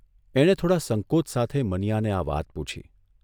એણે થોડા સંકોચ સાથે મનીયાને આ વાત પૂછી.